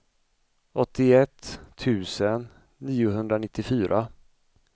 åttioett tusen niohundranittiofyra